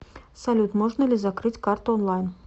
салют можно ли закрыть карту онлайн